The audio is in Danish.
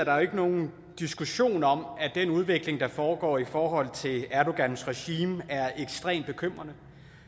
er ikke nogen diskussion om at den udvikling der foregår i forhold til erdogans regime er ekstremt bekymrende